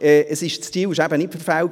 Das Ziel war eben nicht verfehlt.